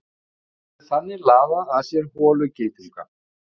Sorp getur þannig laðað að sér holugeitunga.